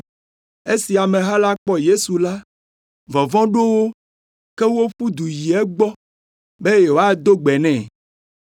Esi ameha la kpɔ Yesu la, vɔvɔ̃ ɖo wo, ke woƒu du yi egbɔ be yewoado gbe nɛ.